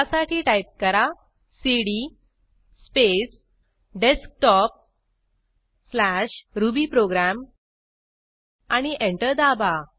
त्यासाठी टाईप करा cd space desktopरुबीप्रोग्राम आणि एंटर दाबा